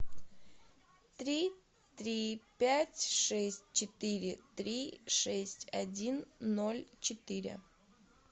три три пять шесть четыре три шесть один ноль четыре